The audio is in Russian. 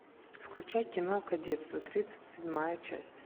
включай кино кадетство тридцать седьмая часть